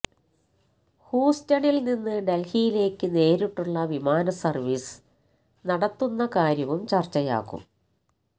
ഹൂസ്റ്റണിൽ നിന്ന് ഡൽഹിയിലേക്ക് നേരിട്ടുള്ള വിമാനസർവീസ് നടത്തുന്ന കാര്യവും ചർച്ചയാകും